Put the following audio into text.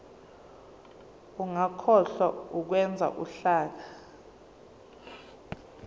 ungakhohlwa ukwenza uhlaka